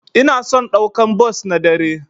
Ina son daukan bos na dare.